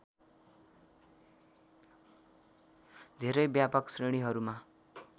धेरै व्यापक श्रेणीहरूमा